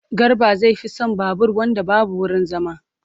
Garba zai fi son babur wanda babu wurin zama.